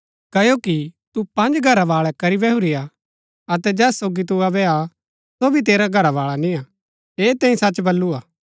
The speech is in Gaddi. क्ओकि तू पँज घरवाळै करी बैहुरी हा अतै जैस सोगी तू अबै हा सो भी तेरा घरावाळा निय्आ ऐह तैंई सच बल्लू हा